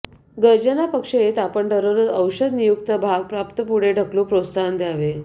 गर्जना पक्ष येत आपण दररोज औषध नियुक्त भाग प्राप्त पुढे ढकलू प्रोत्साहन द्यावे